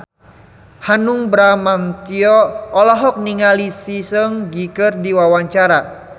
Hanung Bramantyo olohok ningali Lee Seung Gi keur diwawancara